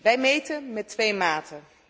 Wij meten met twee maten.